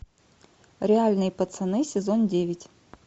реальные пацаны сезон девять